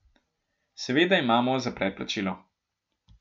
Seveda imamo za predplačilo.